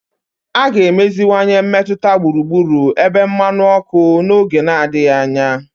A ga-emeziwanye mmetụta gburugburu ebe mmanụ ọkụ n'oge adịghị anya.